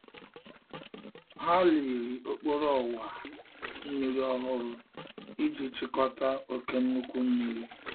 Ha liri okporo owa mmiri ohuru Iji chikota oke nkuku mmiri.